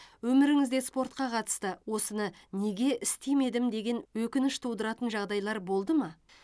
өміріңізде спортқа қатысты осыны неге істемедім деген өкініш тудыратын жағдайлар болды ма